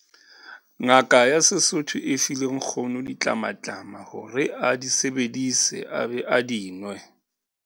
Ngaka ya sesotho e file nkgono ditlamatlama hore a di bedise a be a di nwe.